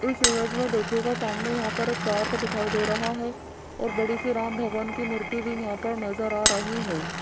इस इमेज में देखिएगा सामने यहां पर एक तार को दिखाई दे रहा है और बड़ी सी राम भगवान की मूर्ति भी यहां पर नजर आ रही है।